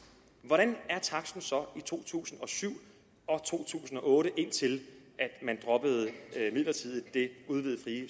hvordan var taksten så i to tusind og syv og to tusind og otte indtil man midlertidigt droppede det udvidede frie